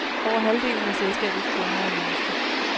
Over halvdelen af selskabets i kunder er norske.